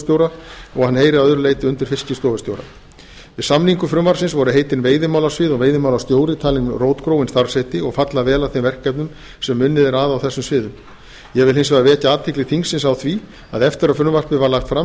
að hann heyri að öðru leyti undir fiskistofustjóra við samningu frumvarpsins voru heitin veiðimálasvið og veiðimálastjóri talin rótgróin starfsheiti og falla vel að þeim verkefnum sem unnið er að á þessum sviðum ég vil hins vegar vekja athygli þingsins á því að eftir að frumvarpið var lagt fram